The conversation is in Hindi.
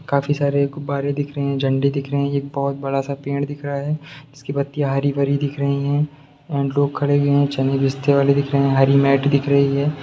काफी सारे गुब्बारे दिख रहे है झंडे दिख रहे है एक बहुत बड़ा सा पेड़ दिख रहा है जिसकी पत्तियां हरी-भरी दिख रही है एंड लोग खड़े है चने बेचने वाले दिख रहे है हरी मेट दिख रही है।